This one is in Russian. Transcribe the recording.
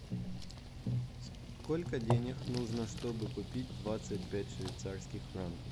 сколько денег нужно чтобы купить двадцать пять швейцарских франков